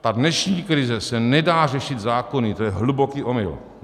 Ta dnešní krize se nedá řešit zákony, to je hluboký omyl.